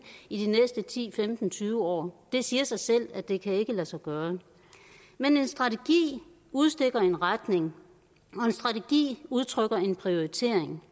i de næste ti til femten tyve år det siger sig selv at det ikke kan lade sig gøre men en strategi udstikker en retning og en strategi udtrykker en prioritering